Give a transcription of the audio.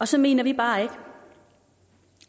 så mener vi bare ikke